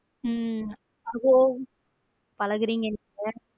உம் அதோ பழகுறீங்க நீங்க.